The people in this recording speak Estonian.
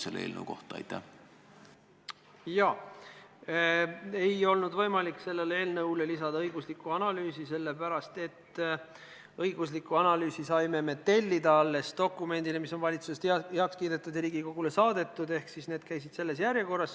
Sellele eelnõule ei olnud õiguslikku analüüsi võimalik lisada sellepärast, et õigusliku analüüsi saime me tellida alles dokumendile, mis on valitsuses heaks kiidetud ja Riigikogule saadetud – selles järjekorras.